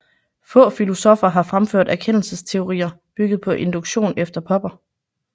Få filosoffer har fremført erkendelsesteorier bygget på induktion efter Popper